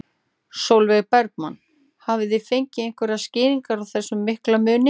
Sólveig Bergmann: Hafið þið fengið einhverjar skýringar á þessum mikla mun?